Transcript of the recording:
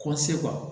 Kɔ se